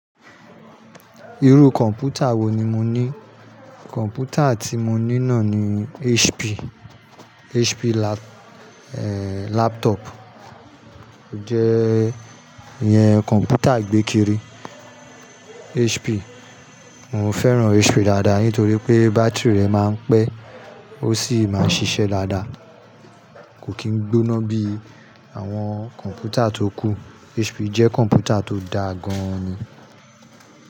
Irú kọ̀ǹpútà wo ni mo ní? Kọ́m̀pútà tí mo ní nọní HP, HP laptop. Ó jẹ́ ìyẹn kọ̀ǹpútà ìgbékérémí HP. Mo fẹ́ràn HP dáadáa nítorí pé, bátìrì rẹ̀ máa ń pẹ́ ó sì máa ń ṣiṣẹ́ dáadáa. Kò kì í gbóná bí àwọn kọ̀ǹpútà tó kù. HP jẹ́ kọ̀ǹpútà tó dáa gan-an ni.